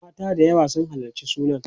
mata da yawa sun halarci sunan